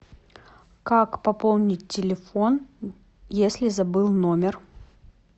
как пополнить телефон если забыл номер